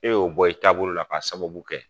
E y'o bɔ i taabolo la k'a sababu kɛ